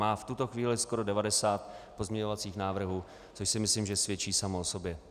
Má v tuto chvíli skoro 90 pozměňovacích návrhů, což si myslím, že svědčí samo o sobě.